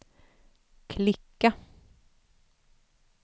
klicka